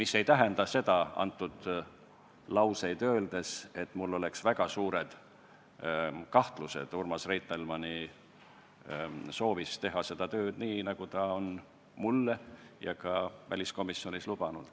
See ei tähenda seda, et mul oleks väga suured kahtlused Urmas Reitelmanni soovis teha seda tööd nii, nagu ta on mulle ja ka väliskomisjonis lubanud.